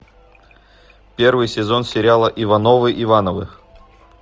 первый сезон сериала ивановы ивановы